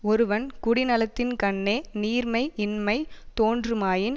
ஒருவன் குடிநலத்தின்கண்ணே நீர்மை யின்மை தோன்றுமாயின்